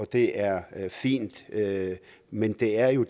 det er fint men det er jo